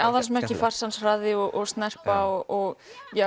aðalsmerki farsans hraði og snerpa og